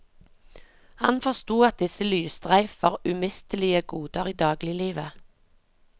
Han forsto at disse lysstreif var umistelige goder i dagliglivet.